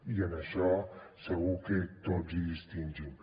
i en això segur que tots hi distingim